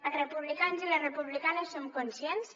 els republicans i les republicanes som conscients